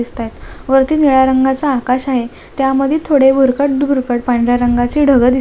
वरती निळ्या रंगाचं आकाश आहे त्यामध्ये थोडे भुरकट भुरकट पांढऱ्या रंगाचे ढग दिसत आहेत.